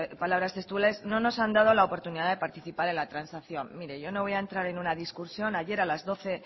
palabras textuales no nos han dado la oportunidad de participar en la transacción mire yo no voy a entrar en una discusión ayer a la doce